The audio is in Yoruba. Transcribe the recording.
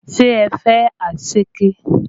Ṣé ẹ fẹ́ anṣẹ̀kẹ́?